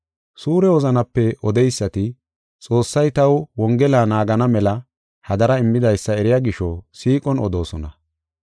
Suure wozanape odeysati, Xoossay taw Wongela naagana mela hadara immidaysa eriya gisho, siiqon odoosona.